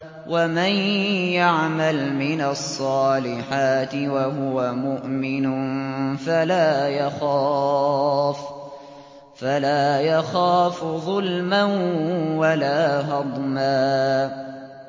وَمَن يَعْمَلْ مِنَ الصَّالِحَاتِ وَهُوَ مُؤْمِنٌ فَلَا يَخَافُ ظُلْمًا وَلَا هَضْمًا